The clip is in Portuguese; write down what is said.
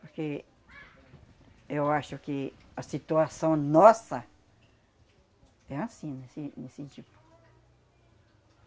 Porque eu acho que a situação nossa é anssim, nesse nesse tipo.